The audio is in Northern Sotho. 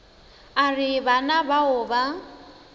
a re bana bao ba